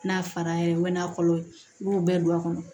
N'a fara ye n mɛ kɔlɔ ye n b'o bɛɛ don a kɔnɔ